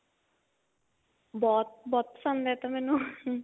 ਬਹੁਤ ਬਹੁਤ ਪਸੰਦ ਹੈ ਇਹ ਤਾਂ ਮੈਨੂੰ